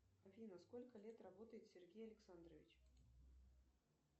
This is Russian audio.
афина сколько лет работает сергей александрович